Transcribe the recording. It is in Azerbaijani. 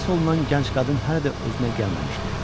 Xilas olunan gənc qadın hələ də özünə gəlməmişdi.